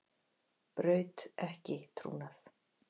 Braut ekki trúnað